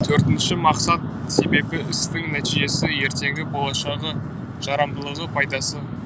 төртінші мақсат себебі істің нәтижесі ертеңгі болашағы жарамдылығы пайдасы